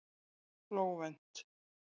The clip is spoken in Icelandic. Flóvent